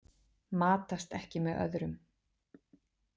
Matast ekki með öðrum.